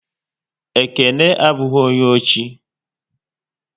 Ekene abụghị onye ochi